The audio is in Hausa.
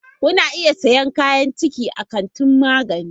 Kuna iya siyan kayan ciki a kantin magani.